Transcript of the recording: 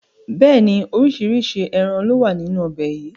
Bẹ́ẹ̀ni, oríṣiríṣi ẹran lowa nínú ọbẹ̀ yìí